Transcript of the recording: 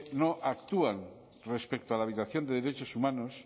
no actúan respecto a la violación de derechos humanos